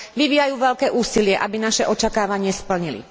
vyvíjajú veľké úsilie, aby naše očakávanie splnili.